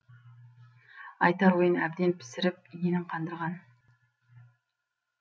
айтар ойын әбден пісіріп иінін қандырған